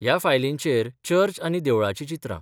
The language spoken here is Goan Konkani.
ह्या फायलींचेर चर्च आनी देवळाचीं चित्रां.